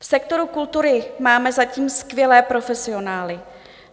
V sektoru kultury máme zatím skvělé profesionály.